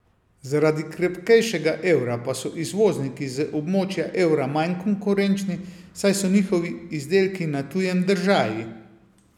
Zaradi krepkejšega evra pa so izvozniki z območja evra manj konkurenčni, saj so njihovi izdelki na tujem držaji.